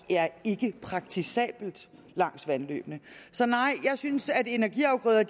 ikke er praktisabelt langs vandløbene så nej jeg synes at energiafgrøder